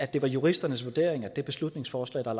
det var juristernes vurdering at det beslutningsforslag der